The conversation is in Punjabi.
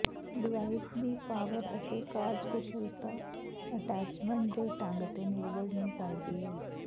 ਡਿਵਾਈਸ ਦੀ ਪਾਵਰ ਅਤੇ ਕਾਰਜਕੁਸ਼ਲਤਾ ਅਟੈਚਮੈਂਟ ਦੇ ਢੰਗ ਤੇ ਨਿਰਭਰ ਨਹੀਂ ਕਰਦੀ ਹੈ